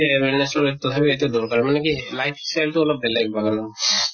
awareness লয় তথাপিও এইটো দৰকাৰ মানে কি life style টো অলপ বেলেগ বাগানৰ